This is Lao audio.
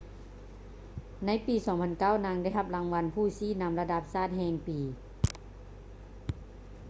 ໃນປີ 2009 ນາງໄດ້ຮັບລາງວັນຜູ້ຊີ້ນຳລະດັບຊາດແຫ່ງປີ